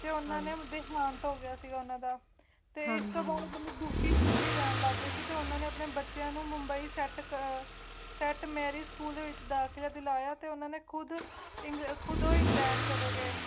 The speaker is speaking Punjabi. ਤੇ ਉਨ੍ਹਾਂ ਦਾ ਦਿਹਾਂਤ ਹੋ ਗਿਆ ਸੀ ਉਨ੍ਹਾਂ ਦਾ ਪੇਂਡੂ ਮੱਤ ਨੂੰ ਦੁਖੀ ਦੁਖੀ ਰਹਿਣ ਲਗੇ ਫਿਰ ਉਨਾਂ ਨੇ ਆਪਣੇ ਬੱਚਿਆਂ ਨੂੰ ਮੁੰਬਈ ਸੈੱਟ ਮੈਰੀ ਸਕੂਲ ਵਿੱਚ ਦਾਖਲਾ ਕਰਾਇਆ ਤੇ ਉਨ੍ਹਾਂ ਨੂੰ ਖੁਦ ਸਿੰਗਰਫ ਉਦੋਂ ਇੰਗਲੈਂਡ ਛੱਡ ਕੇ